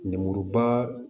Lemuruba